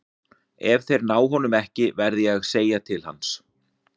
Ef þeir ná honum ekki verð ég að segja til hans.